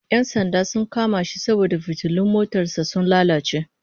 Yan sanda sun kama shi saboda fitilun motar sa sun lalace